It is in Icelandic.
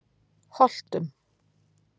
Holtum